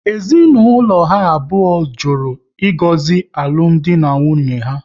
Ezinaụlọ ha abụọ jụrụ ịgozi alụmdi na nwunye ha